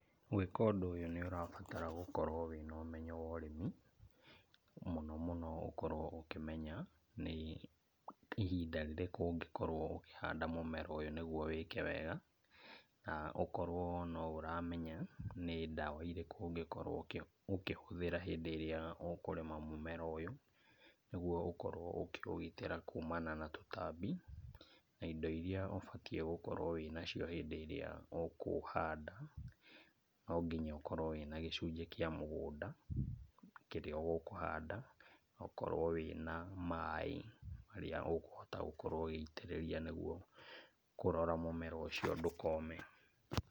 Gwĩka ũndũ ũyũ nĩ ũrabatara gũkorwo wĩna ũmenyo wa ũrĩmi, mũno mũno ũkorwo ũkĩmenya nĩ ihinda rĩrĩkũ ũngĩhanda mũmera ũyũ nĩguo wĩke wega, na ũkorwo no ũramenya nĩ ndawa irĩkũ ũngĩkorwo ũkĩhũthĩra hĩndĩ ĩrĩa ũkũrĩma mũmera ũyũ, nĩguo ũkorwo ũkĩũgitĩra kuumana na tũtambi, na indo iria ũbatiĩ gũkorwo wĩ na cio hĩndĩ ĩrĩa ũkũhanda. Nonginya ũkorwo wĩna gĩcunjĩ kĩa mũgũnda kĩrĩa ũkũhanda, na ũkorwo wĩna maaĩ marĩa ũgũkorwo ũgĩitĩrĩria nĩguo kũrora mũmera ũcio ndũkome.